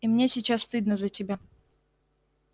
и мне сейчас стыдно за тебя